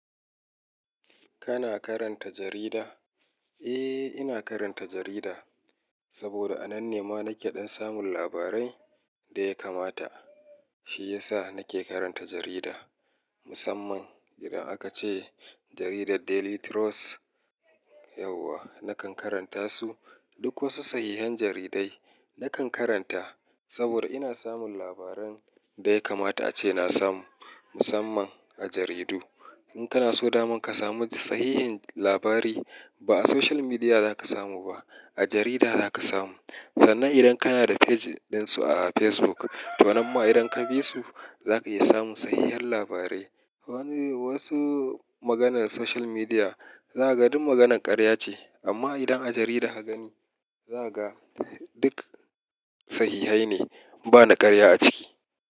Kana karanta jarida? Eh, ina karanta jarida saboda a nan ne ma nake ɗan samun labarai da ya kamata. Shi ya sa nake karanta jarida. Musamman idan aka ce jaridar Daily Trust, yauwa nakan karanta su. Duk wasu sahihhen jaridai nakan karanta saboda ina samun labaran da ya kamata ace na samu. Musamman a jaridu. In kana so daman ka samu sahihhen labari, ba a social media za ka samu ba, a jarida za ka samu. Sannan idan kana da page ɗinsu a Facebook, to namma idan ka bi su, za ka iya samun sahihhen labarai. Wani-- wasu maganan social media za ka ga duk maganan ƙarya ce amma idan a jarida ka gani, za ka ga duk sahihhai ne, ba na ƙarya a ciki.